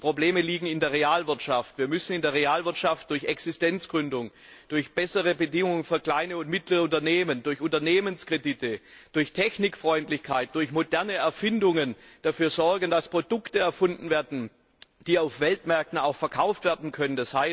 Die Probleme liegen in der Realwirtschaft. Wir müssen in der Realwirtschaft durch Existenzgründungen, durch bessere Bedingungen für kleine und mittlere Unternehmen, durch Unternehmenskredite, durch Technikfreundlichkeit, durch moderne Erfindungen dafür sorgen, dass Produkte erfunden werden, die auf den Weltmärkten auch verkauft werden können.